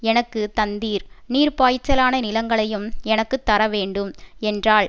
எனக்கு தந்தீர் நீர்ப்பாய்ச்சலான நிலங்களையும் எனக்கு தரவேண்டும் என்றாள்